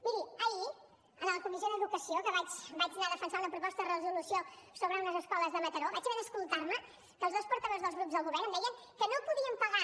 miri ahir a la comissió d’educació que hi vaig anar a defensar una proposta de resolució sobre unes escoles de mataró vaig haver d’escoltar com els dos portaveus dels grups del govern em deien que no podien pagar